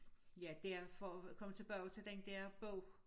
Ja derfor kommer tilbage til den der bog